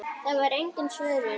Það var engin svörun.